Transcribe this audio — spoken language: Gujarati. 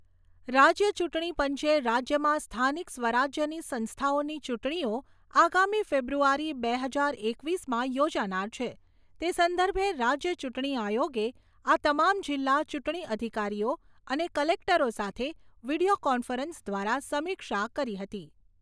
રાજ્યમાં સ્થાનિક સ્વરાજ્યની સંસ્થાઓની ચૂંટણીઓ આગામી ફેબ્રુઆરી બે હજાર એકવીસમાં યોજાનાર છે તે સંદર્ભે રાજ્ય ચૂંટણી આયોગે આ તમામ જિલ્લા ચૂંટણી અધિકારીઓ અને કલેક્ટરો સાથે વિડિયો કોન્ફરન્સ દ્વારા સમીક્ષા કરી હતી.